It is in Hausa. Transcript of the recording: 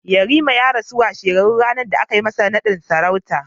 Yariman ya rasu na a washe ɗarin ranar da aka yi masa naɗin sarauta